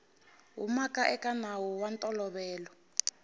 humaka eka nawu wa ntolovelo